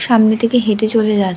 সামনে থেকে হেঁটে চলে যাচ --